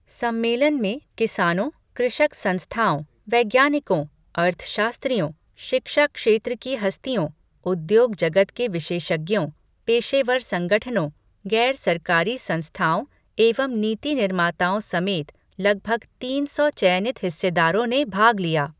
सम्मेलन में किसानों, कृषक संस्थाओं, वैज्ञानिकों, अर्थशास्त्रियों, शिक्षा क्षेत्र की हस्तियों, उद्योग जगत के विशेषज्ञों, पेशेवर संगठनों, गैर सरकारी संस्थाओं एवं नीति निर्माताओं समेत लगभग तीन सौ चयनित हिस्सेदारों ने भाग लिया।